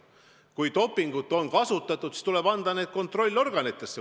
Kui dopingut on kasutatud, siis tuleb asi anda kontrollorganitesse.